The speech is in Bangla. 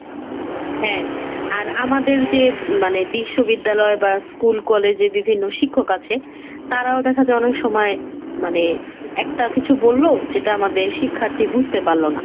হ্যাঁ আর আমাদের যে মানে বিশ্ববিদ্যালয় বা school, college এ বিভিন্ন শিক্ষক আছে তারাও দেখা যায় অনেক সময় মানে একটা কিছু বলল যেটা আমাদের শিক্ষার্থী বুঝতে পারল না।